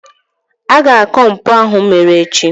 a ga-akọ mpụ ahụ mere echi